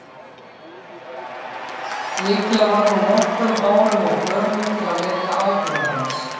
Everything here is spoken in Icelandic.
Líklega var hún nokkrum árum of gömul til að vekja áhuga hans.